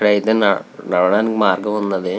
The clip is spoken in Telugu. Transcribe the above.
ఇక్కడ అయతె నా నడవడానికి మార్గం వున్నది.